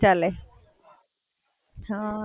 કઈ પણ ચાલે.